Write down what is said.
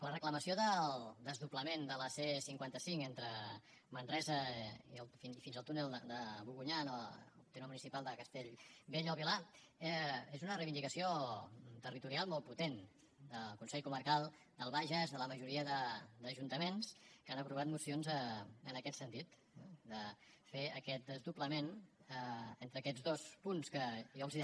la reclamació del desdoblament de la c cinquanta cinc entre manresa fins al túnel de bogunyà en el terme municipal de castellbell i el vilar és una reivindicació territorial molt potent del consell comarcal del bages de la majoria d’ajuntaments que han aprovat mocions en aquest sentit de fer aquest desdoblament entre aquests dos punts que jo els deia